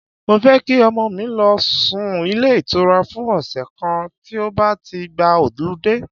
Mo fẹ́ kí ọmọ mi lọ sún ilé ìtura fún ọ̀sẹ̀ kan tí ó bá ti gba họludé.